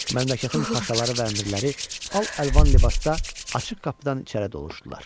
Məmləkətin paşaları və əmirləri al-əlvan libasda açıq qapıdan içəri doluşdular.